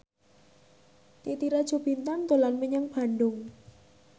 Titi Rajo Bintang dolan menyang Bandung